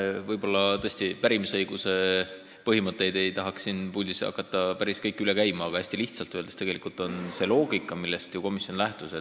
Jah, võib-olla tõesti ei tahaks hakata siin puldis päris kõiki pärimisõiguse põhimõtteid üle käima.